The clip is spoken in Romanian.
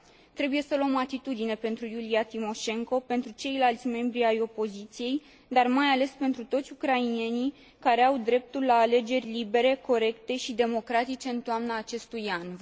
Trebuie să luăm atitudine pentru Iulia Timoșenko, pentru ceilalți membrii ai opoziției, dar mai ales pentru toți ucrainenii care au dreptul la alegeri libere, corecte și democratice în toamna acestui an.